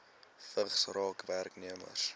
vigs raak werknemers